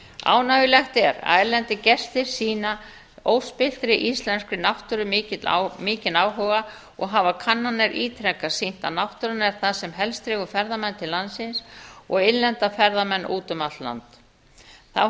ánægjulegt er að erlendir gestir sýna óspilltri íslenskri náttúru mikinn áhuga og hafa kannanir ítrekað sýnt að náttúran er það sem helst dregur ferðamenn til landsins og innlenda ferðamenn út um allt land þá